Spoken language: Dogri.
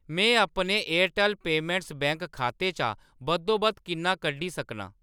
मैं अपने एयरटैल्ल पेमैंट्स बैंक खाते चा बद्धोबद्ध किन्ना कड्ढी सकनां ?